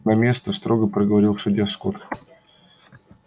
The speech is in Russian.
на место строго проговорил судья скотт